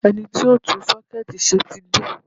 Ẹni tí yóò tún sọ́kẹ́ẹ̀tì ṣe ti dé.